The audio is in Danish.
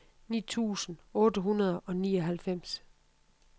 ni tusind otte hundrede og nioghalvfems